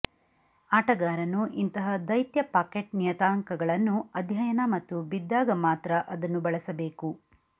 ಆಟಗಾರನು ಇಂತಹ ದೈತ್ಯ ಪಾಕೆಟ್ ನಿಯತಾಂಕಗಳನ್ನು ಅಧ್ಯಯನ ಮತ್ತು ಬಿದ್ದಾಗ ಮಾತ್ರ ಅದನ್ನು ಬಳಸಬೇಕು